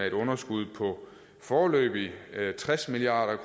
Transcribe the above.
et underskud på foreløbig tres milliard